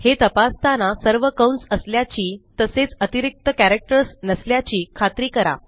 हे तपासताना सर्व कंस असल्याची तसेच अतिरिक्त कॅरेक्टर्स नसल्याची खात्री करा